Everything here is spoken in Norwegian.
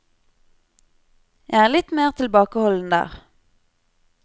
Jeg er litt mer tilbakeholden der.